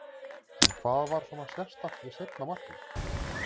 En hvað var svona sérstakt við seinna markið?